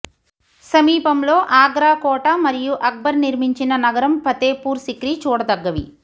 సమీపంలో ఆగ్రా కోట మరియు అక్బర్ నిర్మించిన నగరం ఫతేపూర్ సిక్రీ చూడదగ్గవి